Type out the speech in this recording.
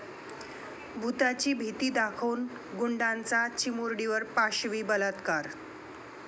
भुताची भीती दाखवून गुंडाचा चिमुरडीवर पाशवी बलात्कार